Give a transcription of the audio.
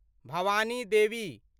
Bhavani Devi